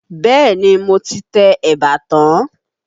Bẹ́ẹ̀ni, mo ti tẹ eba tán.